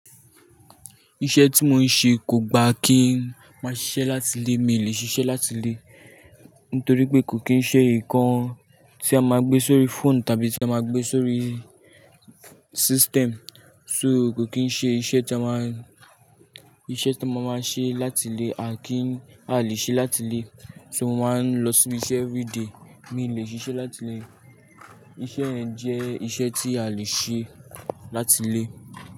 Iṣẹ́ tí mo ń ṣe kò gba kí n máa ṣiṣẹ́ láti ilé, mi lè ṣiṣẹ́ látilé. Nítorí pé kò kí ń ṣe nǹkan tí a máa gbé sórí fóònù tàbí tí a máa gbé sórí system. So kò kí ń ṣe iṣẹ́ tí a máa, iṣẹ́ tí a máa máa ṣe láti ilé, a kì í, a ò lè ṣe láti ilé. So mo máa ń lọ síbi iṣẹ́ everyday, mi ò lè ṣiṣẹ́ láti ilé. Iṣẹ́ yẹn jẹ́ iṣẹ́ tí a lè ṣe láti ilé.